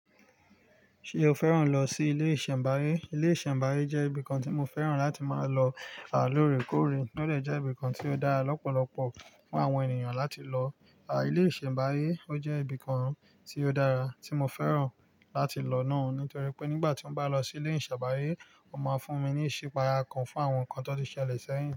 Ṣé o fẹ́ràn lọ sí ilé ìṣẹ̀mbáyé? Ilé ìṣẹ̀mbáyé jẹ́ ibìkan tí mo fẹ́ràn láti máa lọ à lóòrèkóòrè. Ó dè jẹ́ ibìkan tí ó dára lọ́pọ̀lọpọ̀ fún àwọn ènìyàn láti lọ. À, ilé ìṣẹ̀mbáyé ó jẹ́ ibìkan tí ó dára tí mo fẹ́ràn láti lọ náà nítorí pé nígbà tí wọ́n bá lọ sí ilé ìṣẹ̀mbáyé, ó máa fún mi ní ìṣípayà kan fún àwọn nǹkan tàn ti ṣẹlẹ̀ sẹ́yìn.